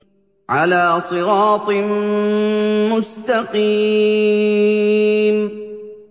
عَلَىٰ صِرَاطٍ مُّسْتَقِيمٍ